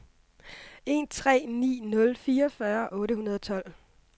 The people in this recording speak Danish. en tre ni nul fireogfyrre otte hundrede og tolv